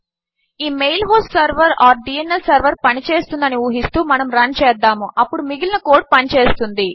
ఈ mail host server or DNS server పని చేస్తుంది అని ఊహిస్తూ మనము రన్ చేద్దాము అప్పుడు మిగిలిన కోడ్ పని చేస్తుంది